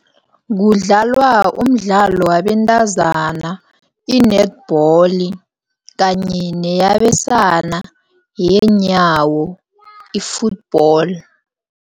Kudlalwa umdlalo wabentazana i-netball, kanye neyabesana, yenyawo i-football.